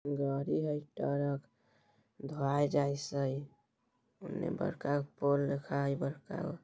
गाड़ी है इ ट्रक ढाई जैसे | उन्ने बड़का गो पोल दिखाई बड़का गो --